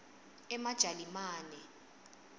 emajalimane